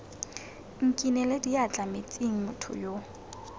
nkinele diatla metsing motho yo